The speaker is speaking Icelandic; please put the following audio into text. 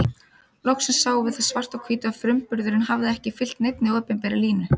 Loksins sáum við það svart á hvítu að frumburðurinn hafði ekki fylgt neinni opinberri línu.